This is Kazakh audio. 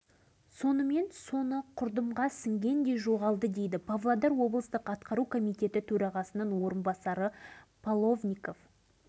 михаил сергеевич қолына түскен телеграмманы жанында отырғанға беріпті ал ол кісі тағы біреуге тапсырса керек